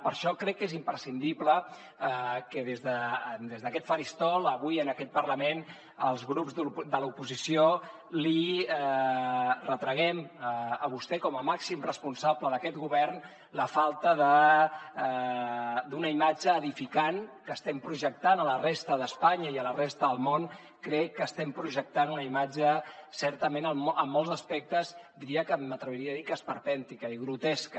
per això crec que és imprescindible que des d’aquest faristol avui en aquest parlament els grups de l’oposició li retraguem a vostè com a màxim responsable d’aquest govern la falta d’una imatge edificant que estem projectant a la resta d’espanya i a la resta del món crec que estem projectant una imatge certament en molts aspectes diria m’atreviria a dir que esperpèntica i grotesca